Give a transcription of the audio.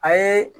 A ye